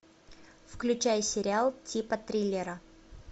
включай сериал типа триллера